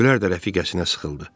Gülər də rəfiqəsinə sıxıldı.